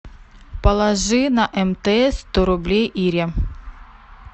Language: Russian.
положи на мтс сто рублей ире